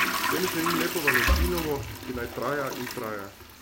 Vsem želim lepo valentinovo, ki naj traja in traja.